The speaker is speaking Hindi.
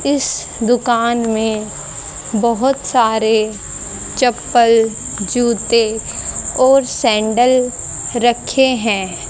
इस दुकान में बहोत सारे चप्पल जूते और सेंडल रखे हैं।